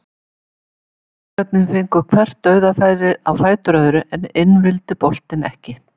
Blikarnir fengu hvert dauðafærið á fætur öðru en inn vildi boltinn ekki.